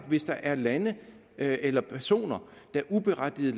hvis der er lande eller personer der uberettiget